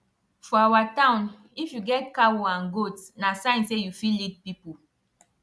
for our town if you get cow and goat na sign say you fit lead people